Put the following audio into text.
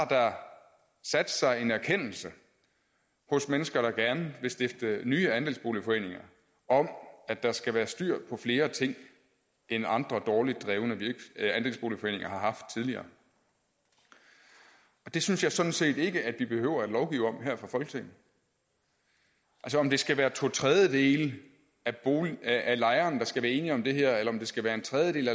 sat sig en erkendelse hos mennesker der gerne vil stifte nye andelsboligforeninger om at der skal være styr på flere ting end andre dårligt drevne andelsboligforeninger har haft tidligere det synes jeg sådan set ikke vi behøver at lovgive om her fra folketinget om det skal være to tredjedele af lejerne der skal være enige om det her eller om det skal være en tredjedel